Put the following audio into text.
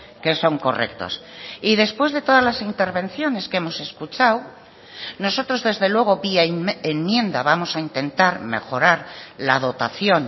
que son correctos y después de todas las intervenciones que hemos escuchado nosotros desde luego vía enmienda vamos a intentar mejorar la dotación